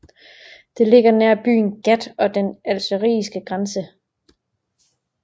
Det ligger nær byen Ghat og den algeriske grænse